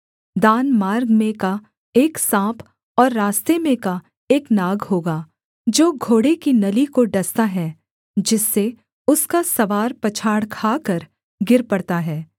दान मार्ग में का एक साँप और रास्ते में का एक नाग होगा जो घोड़े की नली को डसता है जिससे उसका सवार पछाड़ खाकर गिर पड़ता है